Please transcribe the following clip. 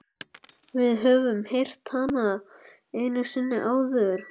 Við höfum heyrt hana einu sinni áður.